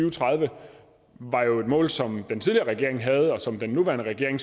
og tredive var jo et mål som den tidligere regering havde og som den nuværende regering